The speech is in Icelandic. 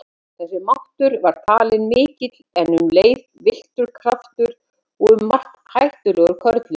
Þessi máttur var talinn mikill en um leið villtur kraftur og um margt hættulegur körlum.